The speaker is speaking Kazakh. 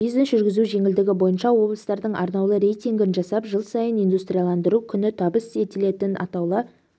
бизнес жүргізу жеңілдігі бойынша облыстардың арнаулы рейтингін жасап жыл сайын индустрияландыру күні табыс етілетін атаулы